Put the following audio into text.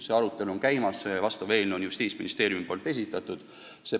See arutelu on käimas, asjaomane eelnõu on Justiitsministeeriumist esitatud.